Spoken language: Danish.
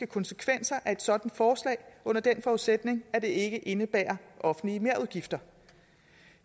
konsekvenser af et sådant forslag under den forudsætning at det ikke indebærer offentlige merudgifter